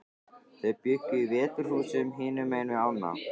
Þau bjuggu í Veturhúsum, hinum megin við ána.